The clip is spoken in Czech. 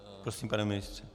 Prosím, pane ministře.